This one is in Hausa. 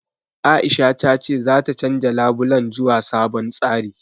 Aisha ta ce zata canja labulen zuwa sabon tsari.